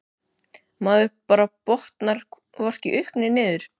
Maður bara botnar hvorki upp né niður.